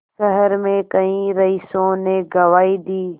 शहर में कई रईसों ने गवाही दी